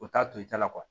U t'a to i ta la